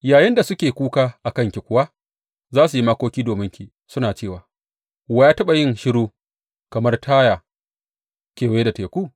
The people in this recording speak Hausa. Yayinda suke kuka a kanki kuwa, za su yi makoki dominki suna cewa, Wa ya taɓa yin shiru kamar Taya, kewaye da teku?